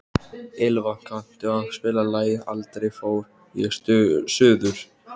Ylva, kanntu að spila lagið „Aldrei fór ég suður“?